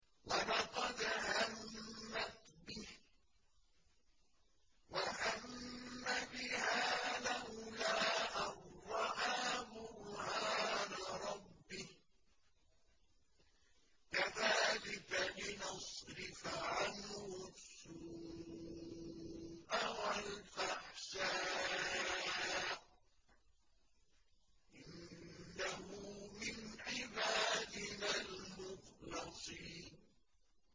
وَلَقَدْ هَمَّتْ بِهِ ۖ وَهَمَّ بِهَا لَوْلَا أَن رَّأَىٰ بُرْهَانَ رَبِّهِ ۚ كَذَٰلِكَ لِنَصْرِفَ عَنْهُ السُّوءَ وَالْفَحْشَاءَ ۚ إِنَّهُ مِنْ عِبَادِنَا الْمُخْلَصِينَ